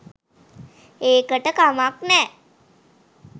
ඒකට කමක් නෑ